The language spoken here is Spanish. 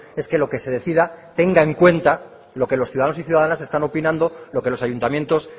es que lo que se decida tenga en cuenta lo que los ciudadanos y ciudadanas están opinando lo que los ayuntamientos